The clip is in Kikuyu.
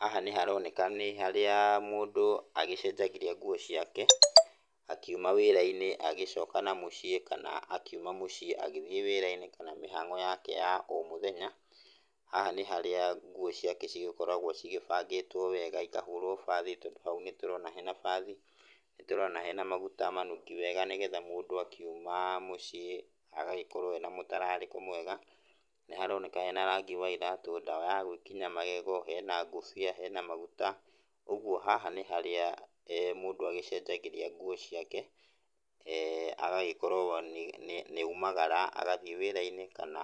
Haha nĩ haroneka nĩ harĩa mũndũ agĩcenjagĩria nguo ciake akiuma wĩra-inĩ agĩcoka na mũciĩ kana akiuma mũciĩ agĩthiĩ wĩra-inĩ kana mĩhango yake ya o mũthenya, haha nĩ harĩa nguo ciake cigĩkoragwo cigĩbangitwo wega ikahũrwo bathi tondũ hau nĩ tũrona hena bathi, nĩtũrona hena maguta manungi wega nigetha mũndũ akiuma mũciĩ agagĩkorwo ena mũtararĩko mwega. Nĩ haroneka hena rangi wa iratũ, ndawa ya gũgĩkinya magego, hena ngobia, hena maguta, ũguo haha nĩ harĩa mũndũ agĩcenjagĩria nguo ciake agagĩkorwo nĩ oimagara agagĩthiĩ wĩra-inĩ kana